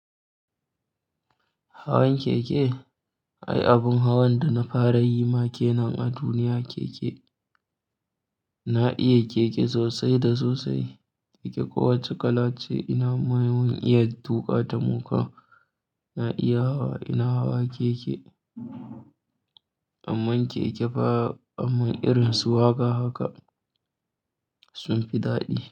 Hawan keke, ai abun hawan da na fara yi ma kenan a duniya keke. Na iya keke sosai da sosai, keke kowacce kala ce ina mayan iya tuƙa ta muka. Na iya hawa, ina hawa keke. Amman keke ba, amman irin su wa haka haka sun fi daɗi.